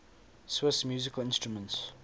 swiss musical instruments